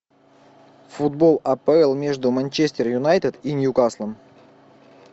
футбол апл между манчестер юнайтед и ньюкаслом